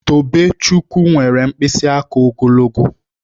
Tobechukwu nwere mkpịsị aka ogologo